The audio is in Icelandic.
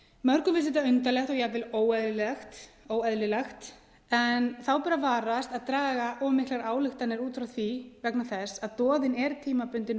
mörgum finnst þetta undarlegt og jafnvel óeðlilegt en þá bera að varast að draga miklar ályktanir út frá því vegna þess að doðinn er tímabundin